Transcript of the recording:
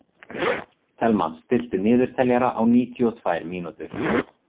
Thelma, stilltu niðurteljara á níutíu og tvær mínútur.